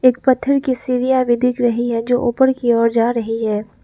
एक पत्थर की सीढ़ियां भी दिख रही है जो ऊपर की ओर जा रही है।